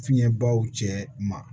Fiɲɛbaw cɛ ma